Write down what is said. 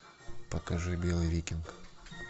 покажи белый викинг